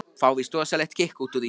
Fá víst rosalegt kikk út úr því.